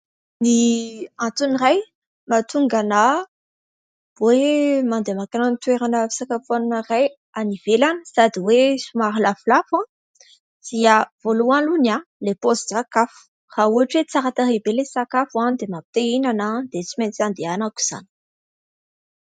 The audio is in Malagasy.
Ny antony iray mahatonga ahy hoe mandeha makany amin'ny toerana fisakafoanana iray any ivelany sady hoe somary lafolafo dia, voalohany, ilay paozin-tsakafo : raha ohatra hoe tsara tarehy be ilay sakafo dia mampi-te hihinana dia tsy maintsy andehanako izany.